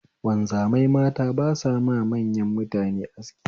Wanzamai mata ba sama manyan mutane aski